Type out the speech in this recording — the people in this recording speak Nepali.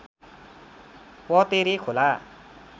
पतेरे खोला